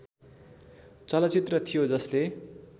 चलचित्र थियो जसले